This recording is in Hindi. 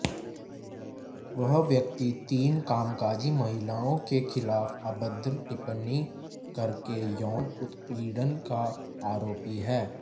वह व्यक्ति तीन कामकाजी महिलाओं के खिलाफ अभद्र टिप्पणी करके यौन उत्पीड़न का आरोपी है